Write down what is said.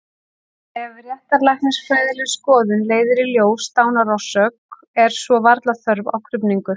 Ef réttarlæknisfræðileg skoðun leiðir í ljós dánarorsök er svo varla þörf á krufningu.